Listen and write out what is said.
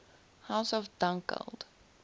house of dunkeld